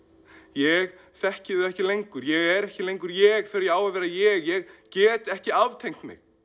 ég þekki þau ekki lengur ég er ekki lengur ég þegar ég á að vera ég ég get ekki aftengt mig